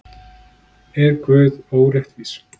Er Guð óréttvís?